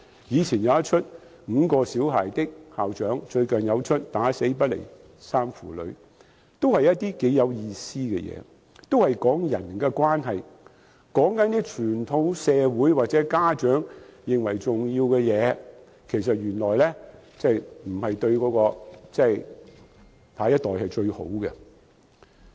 早前放映的"五個小孩的校長"和最近的"打死不離3父女"，同樣是頗有意思的電影，講述人與人的關係，原來一些傳統社會或家長認為重要的事對下一代並非最好。